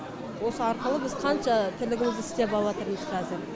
осы арқылы біз қанша тірлігімізді істеп алыватырмыз қазір